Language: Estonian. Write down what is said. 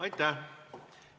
Aitäh!